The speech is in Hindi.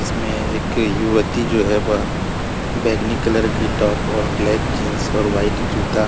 इसमें एक युवती जो है वह बैगनी कलर कि टॉप और ब्लैक कलर जीन्स और वाइट जूता --